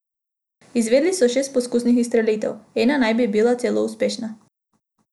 Izvedli so šest poskusnih izstrelitev, ena naj bi bila celo uspešna.